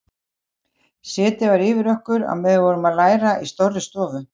Setið var yfir okkur meðan við vorum að læra í stórri stofu.